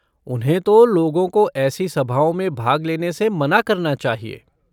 उन्हें तो लोगों को ऐसी सभाओं में भाग लेने से मना करना चाहिए।